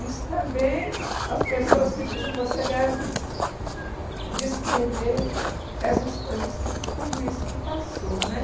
Isso também as pessoas me dizem, você deve descrever essas coisas, que tudo isso que passou né